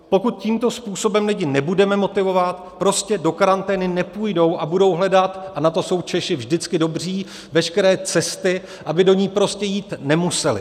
Pokud tímto způsobem lidi nebudeme motivovat, prostě do karantény nepůjdou a budou hledat - a na to jsou Češi vždycky dobří - veškeré cesty, aby do ní prostě jít nemuseli.